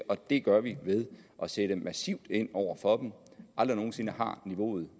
det gør vi ved at sætte massivt ind over for dem aldrig nogen sinde har niveauet